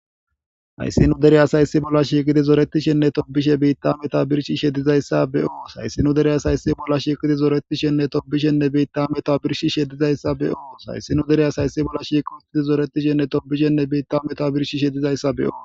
Hayssi nu dereyas hayssi bolla shiiqidi zoretishenne tobishe beitta meta birshi shedizayssa be'o. Hayssi nu dereyas hayssi bolla shiiqidi zooretishenne tobishenne beitta meto birshi shedizayssa be'oo. Hayssi nu dereyas hayssi bolla shiiq hustidi zoretishenne tobishenne beitta meta birshi shedizayssa beyo.